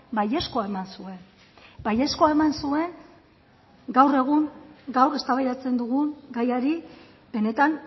baiezkoa eman zuen baiezkoa eman zuen gaur egun gaur eztabaidatzen dugun gaiari benetan